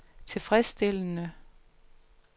tilfredsstillende